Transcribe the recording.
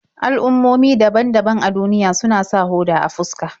Al'ummomi daban-daban a duniya suna sa hoda a fuska.